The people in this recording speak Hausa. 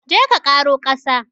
Je ka ƙaro ƙasa!